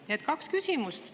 Nii et kaks küsimust.